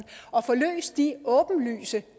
og får løst de åbenlyse